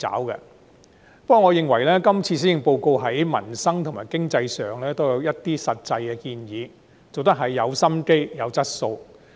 不過，我認為今次施政報告在民生和經濟上亦有一些實際建議，很用心，有質素。